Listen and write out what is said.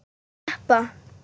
Viltu sleppa!